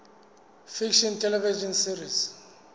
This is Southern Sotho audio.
fiction television series